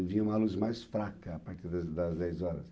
Vinha uma luz mais fraca a partir das das dez horas.